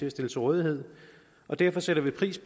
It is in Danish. at stille til rådighed og derfor sætter vi pris